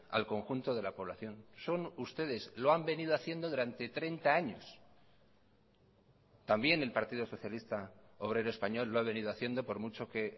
al conjunto de la población son ustedes lo han venido haciendo durante treinta años también el partido socialista obrero español lo ha venido haciendo por mucho que